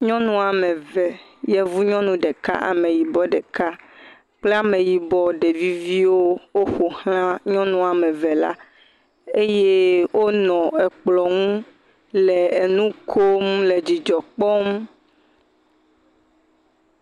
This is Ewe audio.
Nyɔnu woa me eve , yevu nyɔnu ɖeka, ame yibɔ ɖeka, kple ameyibɔ ɖevi viwo ƒo xlã nyɔnu woame eve la eye wonɔ ekplɔ ŋu le nu kom nɔ dzidzɔ kpɔm.